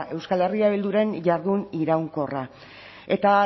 euskal herria bilduren jardun iraunkorra eta